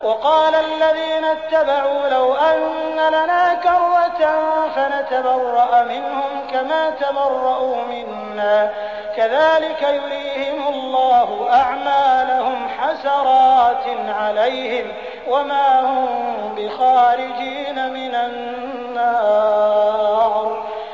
وَقَالَ الَّذِينَ اتَّبَعُوا لَوْ أَنَّ لَنَا كَرَّةً فَنَتَبَرَّأَ مِنْهُمْ كَمَا تَبَرَّءُوا مِنَّا ۗ كَذَٰلِكَ يُرِيهِمُ اللَّهُ أَعْمَالَهُمْ حَسَرَاتٍ عَلَيْهِمْ ۖ وَمَا هُم بِخَارِجِينَ مِنَ النَّارِ